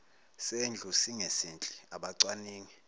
sendlu singesihle abacwaningi